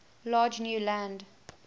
large new land